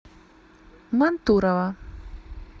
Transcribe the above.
мантурово